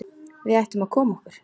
Við ættum að koma okkur.